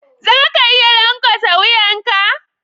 Za ka iya lankwasa wuyan ka?